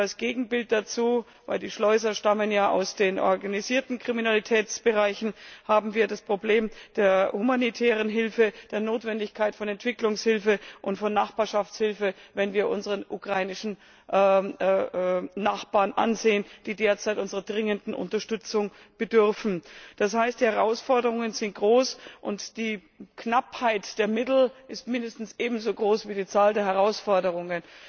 Und als Gegenbild dazu denn die Schleuser stammen ja aus den organisierten Kriminalitätsbereichen haben wir das Problem der humanitären Hilfe, die Notwendigkeit von Entwicklungshilfe und von Nachbarschaftshilfe, wenn wir unsere ukrainischen Nachbarn ansehen, die derzeit unserer dringenden Unterstützung bedürfen. Das heißt Die Herausforderungen sind groß, und die Knappheit der Mittel ist mindestens eben so groß wie die Herausforderungen.